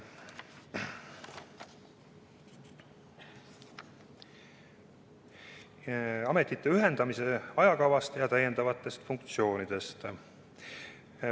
Nüüd ametite ühendamise ajakavast ja täiendavatest funktsioonidest.